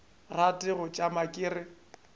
rate go tšama ke re